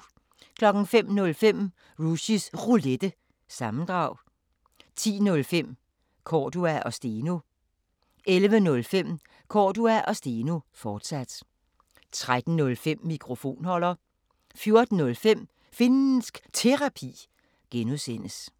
05:05: Rushys Roulette – sammendrag 10:05: Cordua & Steno 11:05: Cordua & Steno, fortsat 13:05: Mikrofonholder 14:05: Finnsk Terapi (G)